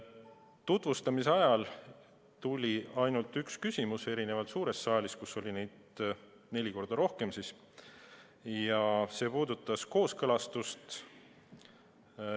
Tutvustamise ajal esitati ainult üks küsimus – erinevalt suurest saalist, kus oli neid neli korda rohkem – ja see puudutas kooskõlastust.